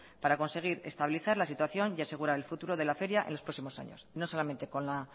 para conseguir estabilizar la situación y asegurar el futuro de la feria en los próximos años no solamente con la